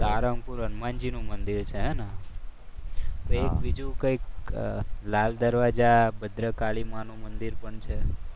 સારંગપુર હનુમાનજીનું મંદિર છે ને? હવે એક બીજું કંઈક લાલ દરવાજા ભદ્રકાળી મા નુ મંદિર પણ છે.